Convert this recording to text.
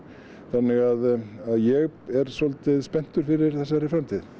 þannig að að ég er svolítið spenntur fyrir þessari framtíð